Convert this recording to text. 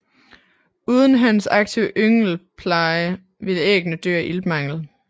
Uden hannens aktive yngelpleje ville æggene dø af iltmangel